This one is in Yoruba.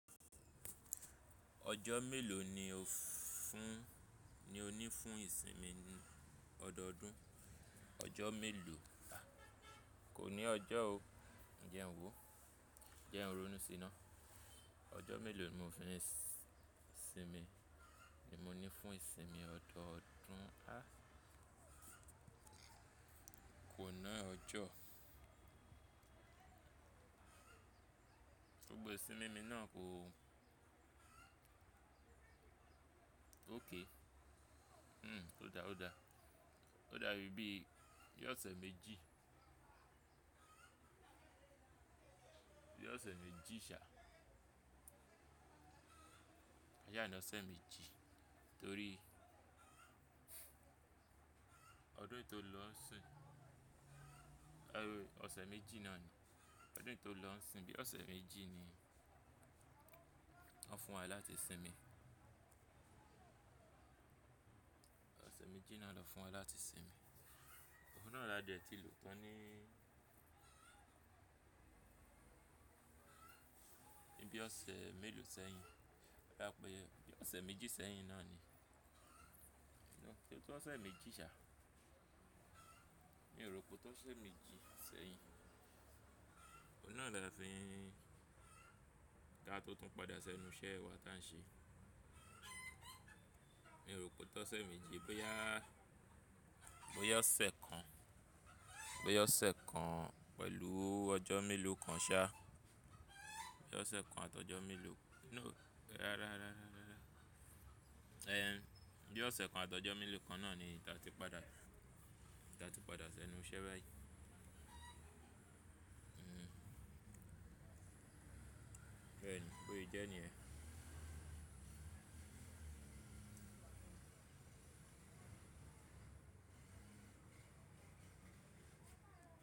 Ọjọ́ mélòó ni o fún, ni o ní fún ìsinmi ọdọọdún? Ọjọ́ mélòó, kò ní ọjọ́ o. Jẹ́ ń wò? Jẹ́ ń ronú sí na. Ọjọ́ mélòó ni mo fi ń sinmi, ni mo ní fún ìsinmi ọdọọdún? A! Kò ni ọjọ́. Gbogbo ìsinmi mi náà kò ó. Okay. Hmm, ó dáa, ó dáa. Ó dá bí i, bí ọ̀sẹ̀ méjì. Bí ọ̀sẹ̀ méjì ṣá. Ka sa ni ose meji torí ọdún yìí tó n lọ sìn. Ẹwò, ọ̀sẹ̀ méjì náà ni. Ọdún yìí tó lọ ń sin bí ọ̀sẹ̀ méjì ni wọn fún wa láti sinmi. Ọ̀sẹ̀ méjì náà lọ fún wa láti sinmi. Òun náà la dẹ̀ ti lò tan ní bí ọ̀sẹ̀ mélòó sẹ́yìn. Ka saá pé bí ọ̀sẹ̀ méjì sẹ́yìn náà ni. No, se o to ọ̀sẹ̀ méjì ṣá. Mi ò rò pé o tó ọ̀sẹ̀ méjì sẹ́yìn. Oun naa la de fi n, ka to tun pada senu ise wa ta n se. Mi ò rò pé o tósẹ̀ méjì boya, boya ọ̀sẹ̀ kan, boya ọ̀sẹ̀ kan pẹ̀lú ọjọ́ mélòó kan ṣá. Boya ọ̀sẹ̀ kan àti ọjọ́ mélòó, no, rárá, rárá, rárá, rárá. Ehhen, bí ọ̀sẹ̀ kan àti ọjọ́ mélòó kan náà ni eyi ti a padà, ti a ti padà sí ẹnu iṣẹ́ báyìí. Hmm. Bẹ́ẹ̀ ni, bó se jẹ́ ní yẹ́n.